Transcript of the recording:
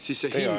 Teie aeg!